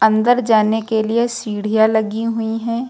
अंदर जाने के लिए सीढ़ियां लगी हुई हैं।